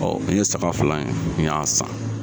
Ɔ n ye saga fila in n y'a san.